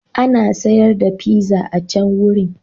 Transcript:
Ana sayar da pizza a can wurin.